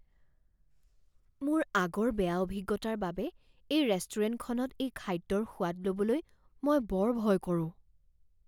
মোৰ আগৰ বেয়া অভিজ্ঞতাৰ বাবে এই ৰেষ্টুৰেণ্টখনত এই খাদ্যৰ সোৱাদ ল'বলৈ মই বৰ ভয় কৰোঁ।